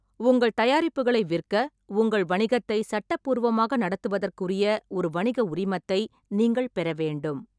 உங்கள் தயாரிப்புகளை விற்க, உங்கள் வணிகத்தைச் சட்டப்பூர்வமாக நடத்துவதற்குரிய ஒரு வணிக உரிமத்தை நீங்கள் பெற வேண்டும்.